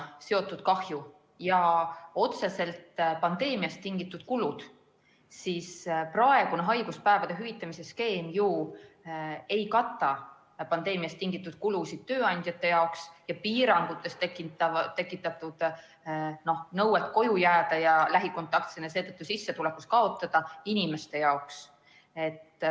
... seotud kahju ja otseselt pandeemiast tingitud kulud, siis praegune haiguspäevade hüvitamise skeem ju ei kata pandeemiast tingitud kulusid tööandjate jaoks ega lähikontaktsena koju jäävate ja seetõttu sissetulekus kaotavate inimeste jaoks.